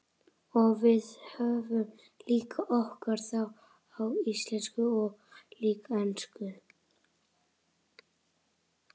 Og við höfum líka okkar þátt, á íslensku og líka ensku.